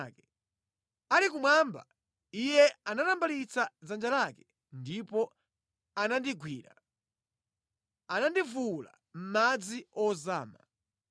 “Ali kumwamba, Iye anatambalitsa dzanja lake ndipo anandigwira; anandivuwula mʼmadzi ozama.